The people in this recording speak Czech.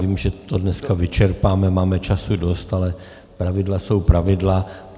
Vím, že to dneska vyčerpáme, máme času dost, ale pravidla jsou pravidla.